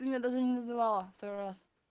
ты меня даже не называла второй раз